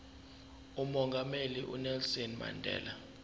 umongameli unelson mandela